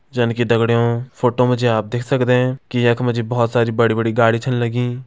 जन की दगड़ियों फोटो मा जी आप देख सकदें कि यख मा जी बहुत बड़ी बड़ी गाड़ि छन लगीं।